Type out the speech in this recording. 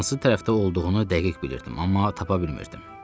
Hansı tərəfdə olduğunu dəqiq bilirdim, amma tapa bilmirdim.